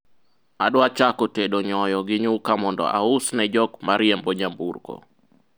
adwa chako tedo nyoyo gi nyuka mondo aus ne jok mariembo nyamburko